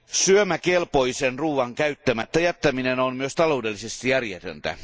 Syömäkelpoisen ruoan käyttämättä jättäminen on myös taloudellisesti järjetöntä.